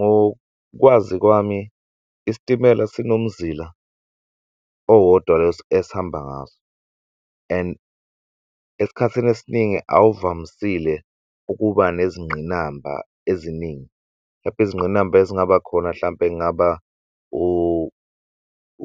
Ngokwazi kwami isitimela sinomuzila owodwa esihamba ngaso, and esikhathini esiningi awuvamisile ukuba nezingqinamba eziningi. Hlampe izingqinamba ezingaba khona hlampe